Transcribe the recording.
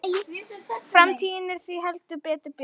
Framtíðin er því heldur betur björt